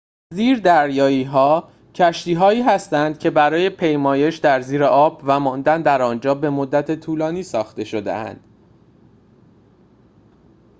زیردریایی‌ها کشتی‌هایی هستند که برای پیمایش در زیر آب و ماندن در آنجا به مدت طولانی ساخته شده‌اند